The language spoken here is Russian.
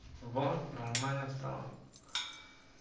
во нормально стало